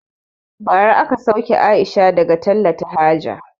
Bara aka sauke Aisha daga talata haja